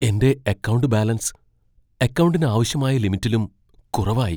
എന്റെ account balance അക്കൗണ്ടിന് ആവശ്യമായ ലിമിറ്റിലും കുറവായി.